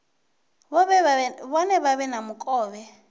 vhone vha vhe na mukovhe